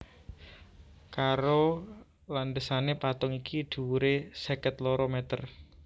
Karo landhesané patung iki dhuwuré seket loro mèter